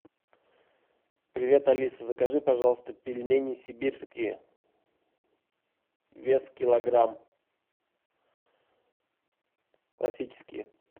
привет алиса закажи пожалуйста пельмени сибирские вес килограмм классические